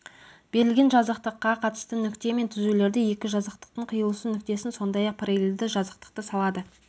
берілген жазықтыққа қатысты нүкте мен түзулерді екі жазықтықтың қиылысу нүктесін сондай-ақ параллельді жазықтықты салады